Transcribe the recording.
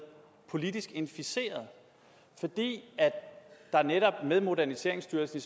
politisk inficeret fordi der netop med moderniseringsstyrelsen